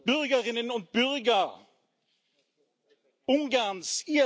Bürgerinnen und Bürger Ungarns!